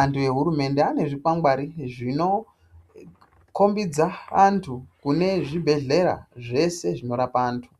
antu ehurumende atone zvikwangwari zvinokombodza antu kune zvibhedhlera zvese zvinorapa antu.